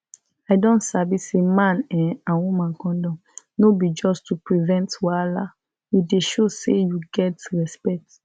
i don sabi say man[um]and woman condom no be just to prevent wahala e dey show say you get respect